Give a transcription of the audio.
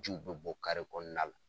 Jiw bɛ bɔ kɔnɔna la